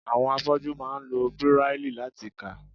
Àwọn afọ́jú máa ń lo Bíráílì láti kà.